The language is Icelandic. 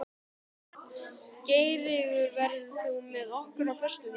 Geirtryggur, ferð þú með okkur á föstudaginn?